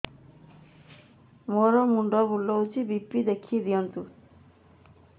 ମୋର ମୁଣ୍ଡ ବୁଲେଛି ବି.ପି ଦେଖି ଦିଅନ୍ତୁ